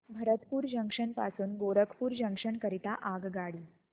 Bharatpur junction पासून Gorakhpur junction करीता आगगाडी